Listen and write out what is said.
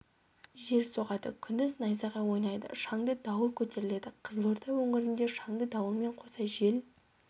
жел соғады күндіз найзағай ойнайды шаңды дауыл көтеріледі қызылорда өңірінде шаңды дауылмен қоса жел